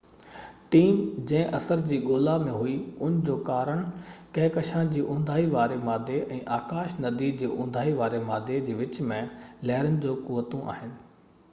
team جنهن اثر جي ڳولا ۾ هئي ان جو ڪارڻ ڪهڪشان جي اُونداهي واري مادي ۽ آڪاش ندي جو اُونداهي واري مادي جي وچ ۾ لهرن جون قوتون آهن